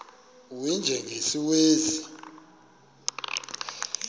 u y njengesiwezi